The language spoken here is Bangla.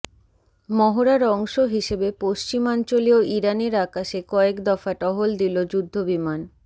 মহড়ার অংশ হিসেবে পশ্চিমাঞ্চলীয় ইরানের আকাশে কয়েক দফা টহল দিল যুদ্ধবিমান